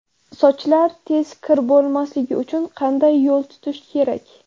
Sochlar tez kir bo‘lmasligi uchun qanday yo‘l tutish kerak?